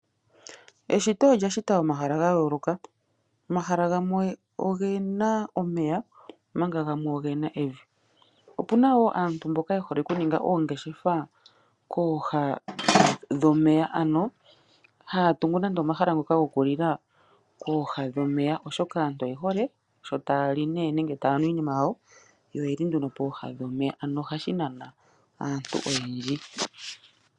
Eshito olya shita omahala ga yooloka, omahala gamwe ogena omeya omanga gamwe ogena evi. Opuna wo aantu mboka ye hole okuninga oongeshefa kooha dhomeya, ano haya tungu nande omahala goku lila kooha dhomeya, oshoka aantu oye hole sho taya li nenge taya nu iinima yawo, yo oyeli nduno pooha dhomeya, ano ohashi nana aantu oyendji.